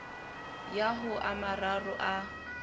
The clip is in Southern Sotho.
ya ho a mararo a